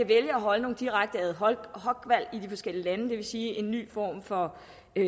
vælge at holde nogle direkte ad hoc valg i de forskellige lande det vil sige en ny form for